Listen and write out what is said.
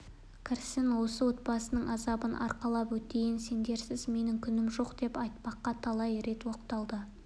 кірсін осы отбасының азабын арқалап өтейін сендерсіз менің күнім жоқ деп айтпаққа талай рет оқталды